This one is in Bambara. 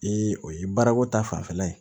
Ee o ye baarako ta fanfɛla ye